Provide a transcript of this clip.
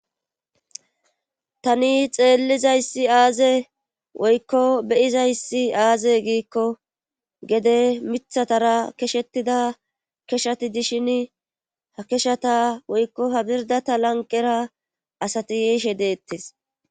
Tani xeellizayssi aaze woykko be7izayssi aaze giikko gede mithatara keshettida keshati dishini ha keshata ha birddata lanqqera asati yishe deettes.